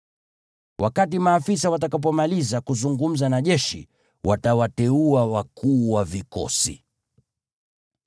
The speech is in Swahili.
Wakati maafisa watakapomaliza kuzungumza na jeshi, watawateua wakuu wa vikosi.